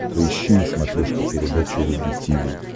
поищи на смотрешке передачу рубль ти ви